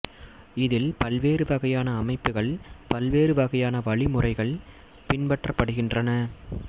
இதில் பல்வேறு வகையான அமைப்புகள் பல்வேறு வகையான வழிமுறைகள் பின்பற்றப்படுகின்றன